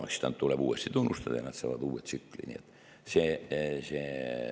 Siis neid tuleb uuesti tunnustada ja nad saavad uue tsükli.